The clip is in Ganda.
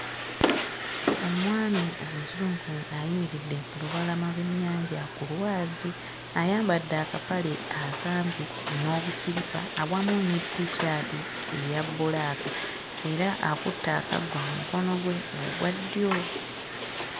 Omwami omuzungu ayimiridde ku lubalama lw'ennyanja ku lwazi. Ayambadde akapale akampi n'obusiripa awamu ne t-shirt eya bbulaaka era akutte akaggo mmukono gwe ogwa ddyo.